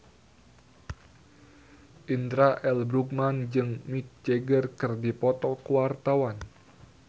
Indra L. Bruggman jeung Mick Jagger keur dipoto ku wartawan